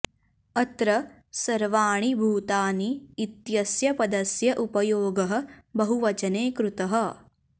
अत्र सर्वाणि भूतानि इत्यस्य पदस्य उपयोगः बहुवचने कृतः